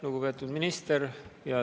Lugupeetud minister!